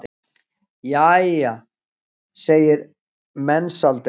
Jæja, segir Mensalder.